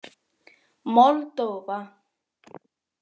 Moldóva